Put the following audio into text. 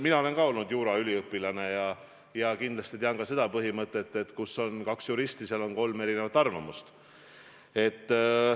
Mina olen ka olnud juuraüliõpilane ja kindlasti tean ka seda ütlemist, et kus on kaks juristi, seal on kolm erinevat arvamust.